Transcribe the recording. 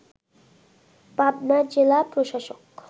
পাবনার জেলা প্রশাসক